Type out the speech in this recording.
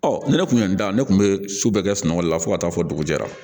Ɔ ne kun y'an da ne kun bɛ su bɛɛ kɛ sunɔgɔli la fo ka taa fɔ dugujɛra